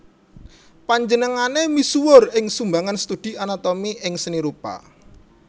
Panjenengané misuwur ing sumbangan studi anatomi ing Seni Rupa